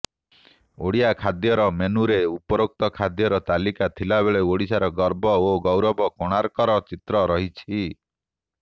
ଓଡ଼ିଆ ଖାଦ୍ୟର ମେନ୍ୟୁରେ ଉପରୋକ୍ତ ଖାଦ୍ୟର ତାଲିକା ଥିବାବେଳେ ଓଡ଼ିଶାର ଗର୍ବ ଓ ଗୌରବ କୋଣାର୍କର ଚିତ୍ର ରହିଛି